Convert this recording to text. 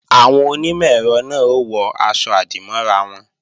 Àwọn onímọ̀-ẹ̀rọ náà ó wọ aṣọ-àdìmọ́ra wọn